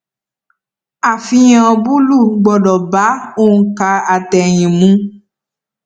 àfihàn búlù gbọdọ bá ònkà àtẹyìn mu